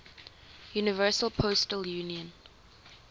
universal postal union